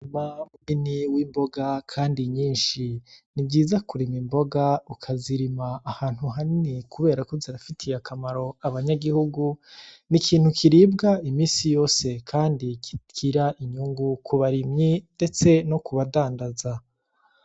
Umurima munini w'imboga kandi nyishi nivyiza kurima imboga ukazirima ahantu hanini kuberako zirafitiye akamaro abanyagihugu n'ikintu kiribwa iminsi yose kandi kigira inyungu kubarimyi ndetse no kubadandaza.